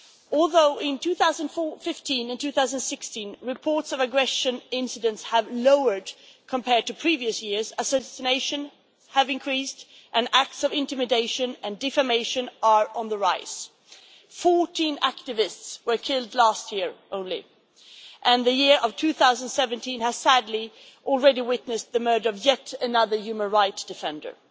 Although in 2015 and 2016, reports of aggression incidents have fallen compared to previous years, assassinations have increased and acts of intimidation and defamation are on the rise. Fourteen activists were killed last year alone, and the year of 2017 has sadly already witnessed the murder of yet another human rights defender.